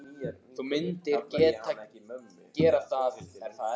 Þú myndir gera það, er það ekki?